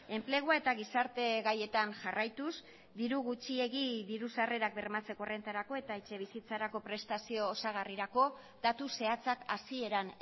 enplegua eta gizarte gaietan jarraituz diru gutxiegi diru sarrerak bermatzeko errentarako eta etxebizitzarako prestazio osagarrirako datu zehatzak hasieran